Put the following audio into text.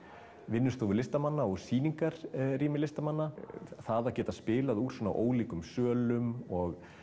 vinnustofur listamanna og sýningarrými listamanna það að geta spilað úr svona ólíkum sölum og